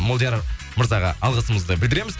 молдияр мырзаға алғысымызды білдіреміз